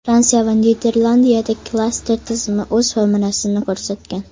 Fransiya va Niderlandiyada klaster tizimi o‘z samarasini ko‘rsatgan.